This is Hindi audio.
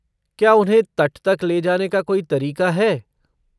क्या उन्हें तट तक ले जाने का कोई तरीका है?